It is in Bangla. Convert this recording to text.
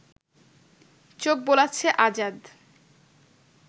চোখ বোলাচ্ছে আজাদ